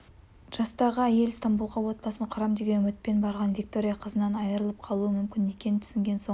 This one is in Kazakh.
жастағы әйел стамбулға отбасын құрам деген үмітпен барған виктория қызынан айырылып қалуы мүмкін екенін түсінген соң